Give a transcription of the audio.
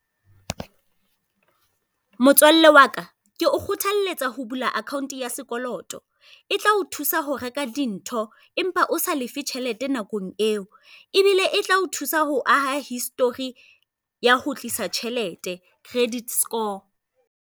Motsoalle waka, ke o kgothaletsa ho bula akhaonte ya sekoloto. E tla o thusa ho reka dintho empa o sa lefe tjhelete nakong eo, ebile e tla o thusa ho aha histori ya ho tlisa tjhelete, credit score.